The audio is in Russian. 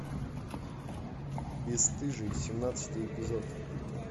бесстыжие семнадцатый эпизод